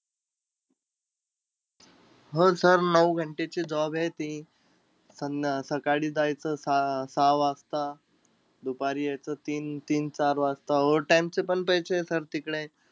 हो sir नऊ घंटे ची job आहे ती. सं अं सकाळी जायचं सह सहा वाजता, दुपारी यायचं तीन तीन-चार वाजता. Overtime चे पण पैसेय sir तिकडे.